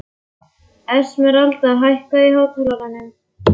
Esmeralda, hækkaðu í hátalaranum.